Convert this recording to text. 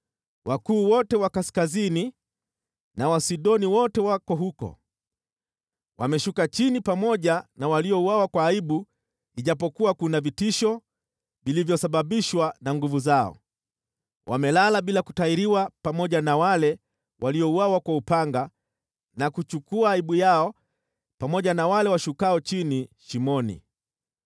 “Wakuu wote wa kaskazini na Wasidoni wote wako huko, wameshuka chini pamoja na waliouawa kwa aibu ijapokuwa kuna vitisho vilivyosababishwa na nguvu zao. Wamelala bila kutahiriwa pamoja na wale waliouawa kwa upanga na kuchukua aibu yao pamoja na wale washukao chini shimoni.